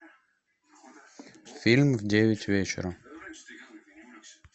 фильм в девять вечера